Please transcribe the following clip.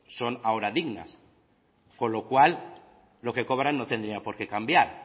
son ahora dignas con lo cual lo que cobran no tendría por qué cambiar